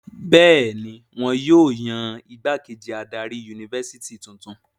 Bẹ́ẹ̀ ni, wọn yóò yan ìgbákejì adarí yunifásitì tuntun.